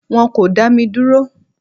Wọn kò dá mi dúró.